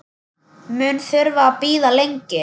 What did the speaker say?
Mun þurfa að bíða lengi.